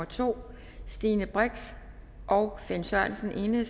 to stine brix og finn sørensen